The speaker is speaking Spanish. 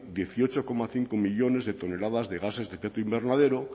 dieciocho coma cinco millónes de toneladas de gases de efecto invernadero